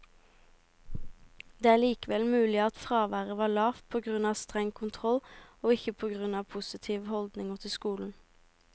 Det er likevel mulig at fraværet var lavt på grunn av streng kontroll, og ikke på grunn av positive holdninger til skolen.